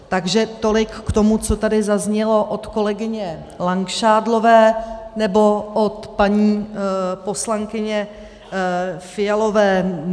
Takže tolik k tomu, co tady zaznělo od kolegyně Langšádlové nebo od paní poslankyně Fialové.